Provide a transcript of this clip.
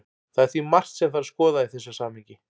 Það er því margt sem þarf að skoða í þessu samhengi.